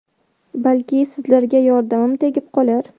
Balki, sizlarga yordamim tegib qolar.